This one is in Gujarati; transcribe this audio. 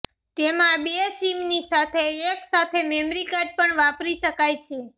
તેમાં બે સિમની સાથે એક સાથે મેમરી કાર્ડ પણ વાપરી શકાય છે